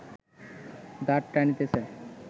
দাঁড় টানিতেছে